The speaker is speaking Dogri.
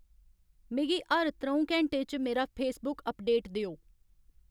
मिगी हर त्र'ऊं घैंटें च मेरा फेसबुक अपडेट देओ